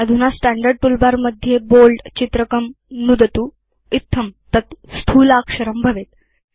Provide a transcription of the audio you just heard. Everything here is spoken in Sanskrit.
अधुना स्टैण्डर्ड् टूलबार मध्ये Bold चित्रकं नुदतु इत्थं तत् स्थूलाक्षरं भवेत्